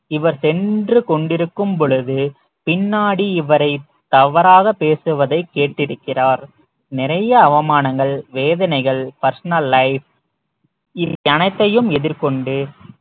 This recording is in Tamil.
இவர் சென்று கொண்டிருக்கும் பொழுது பின்னாடி இவரை தவறாக பேசுவதை கேட்டிருக்கிறார் நிறைய அவமானங்கள் வேதனைகள் personal life இவை அனைத்தையும் எதிர்கொண்டு